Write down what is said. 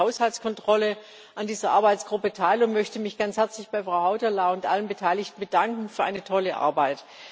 Ich nehme für den Haushaltskontrollausschuss an dieser Arbeitsgruppe teil und möchte mich ganz herzlich bei Frau Hautala und allen Beteiligten bedanken für eine tolle Arbeit.